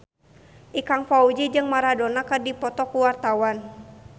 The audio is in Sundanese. Ikang Fawzi jeung Maradona keur dipoto ku wartawan